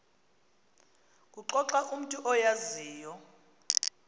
kuxoxa umntu oyaziyo